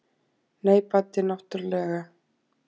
Nei, Baddi náttúrlega.